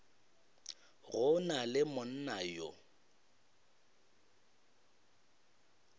go na le monna yo